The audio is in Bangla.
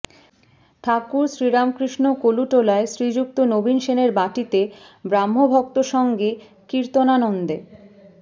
ঠাকুর শ্রীরামকৃষ্ণ কলুটোলায় শ্রীযুক্ত নবীন সেনের বাটীতে ব্রাহ্মভক্তসঙ্গে কীর্তনানন্দে